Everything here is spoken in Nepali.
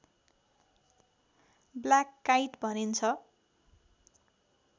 ब्ल्याक काइट भनिन्छ